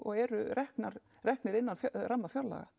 eru reknir reknir innan ramma fjárlaga